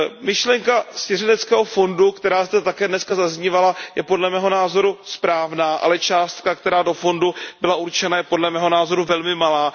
Myšlenka svěřeneckého fondu, která zde také dneska zaznívala, je podle mého názoru správná, ale částka, která do fondu byla určena, je podle mého názoru velmi malá.